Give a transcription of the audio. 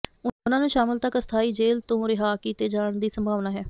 ਉਨ੍ਹਾਂ ਨੂੰ ਸ਼ਾਮਲ ਤਕ ਅਸਥਾਈ ਜੇਲ੍ਹ ਤੋਂ ਰਿਹਾਅ ਕੀਤੇ ਜਾਣ ਦੀ ਸੰਭਾਵਨਾ ਹੈ